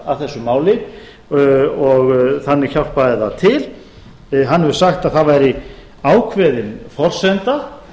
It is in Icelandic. að þessu máli og þannig hjálpaði það til hann hefur sagt að það væri ákveðin forsenda